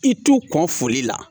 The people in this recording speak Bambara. I t'u kɔn foli la